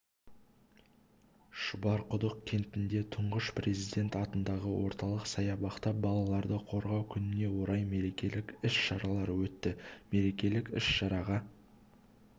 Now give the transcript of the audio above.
шұбарқұдық кентінде тұңғыш президент атындағы орталық саябақта балаларды қорғау күніне орай мерекелік іс-шаралар өтті мерекелік іс-шараға